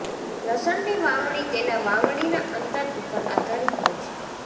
લસણની વાવણી તેના વાવણીના અંતર ઉપર આધારીત હોય છે